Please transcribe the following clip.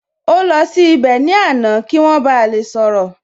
Ó lọ sí ibẹ̀ ní àná kí wọ́n ba lè sọ̀rọ̀